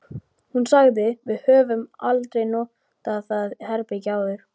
Hún sagði: Við höfum aldrei notað það herbergi áður